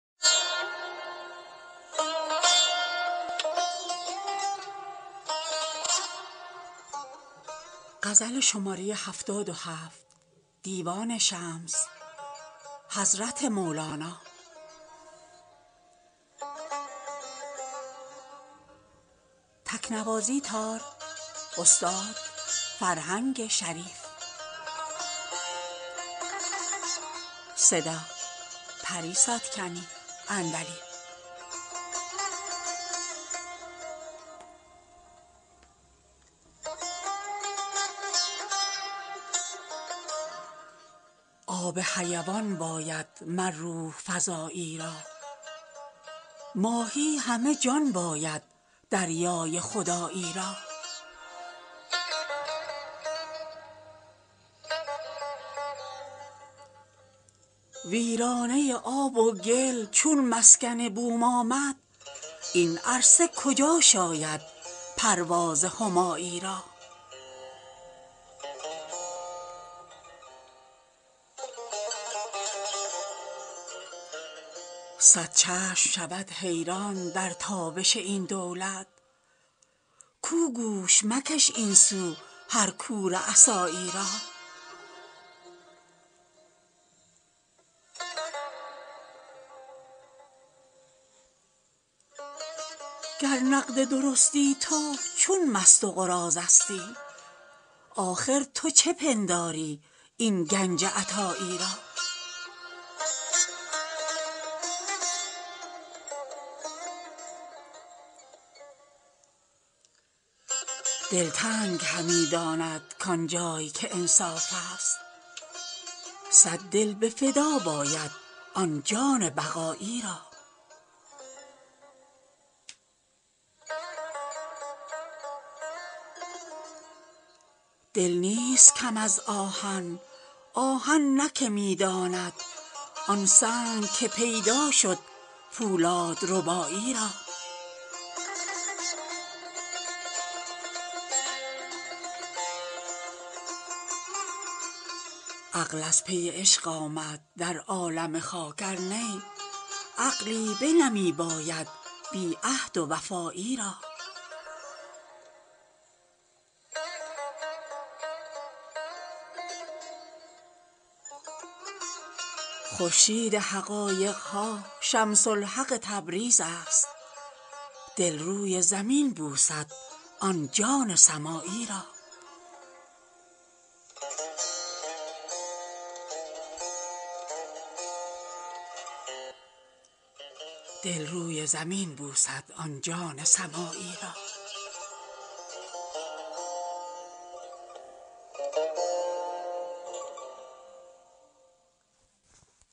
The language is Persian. آب حیوان باید مر روح فزایی را ماهی همه جان باید دریای خدایی را ویرانه ی آب و گل چون مسکن بوم آمد این عرصه کجا شاید پرواز همایی را صد چشم شود حیران در تابش این دولت تو گوش مکش این سو هر کور عصایی را گر نقد درستی تو چون مست و قراضه ستی آخر تو چه پنداری این گنج عطایی را دلتنگ همی دانند کان جای که انصافست صد دل به فدا باید آن جان بقایی را دل نیست کم از آهن آهن نه که می داند آن سنگ که پیدا شد پولادربایی را عقل از پی عشق آمد در عالم خاک ار نی عقلی بنمی باید بی عهد و وفایی را خورشید حقایق ها شمس الحق تبریز است دل روی زمین بوسد آن جان سمایی را